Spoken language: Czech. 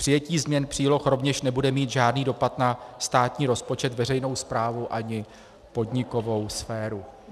Přijetí změn příloh rovněž nebude mít žádný dopad na státní rozpočet, veřejnou správu ani podnikovou sféru.